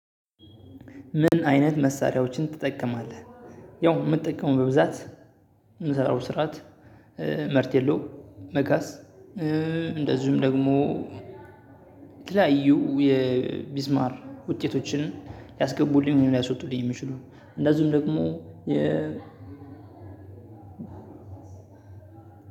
"ምን አይነት መሳሪያዎችን ትጠቀማለህ?" ያው የምጠቀመው በብዛት የምሰራው ስርዓት መርቴሎ፣ መጋዝ እንደዚሁም ደግሞ የተለያዩ የቢስማር ውጤቶችን ሊያስገቡልኝ ሊያስወጡልኝ የሚችሉ እንደዚሁም ደግሞ የ